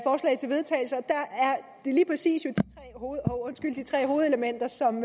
lige præcis de tre hovedelementer som